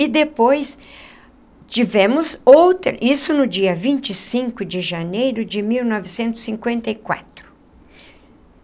E depois tivemos outra... Isso no dia vinte e cinco de janeiro de mil novecentos e cinquenta e quatro.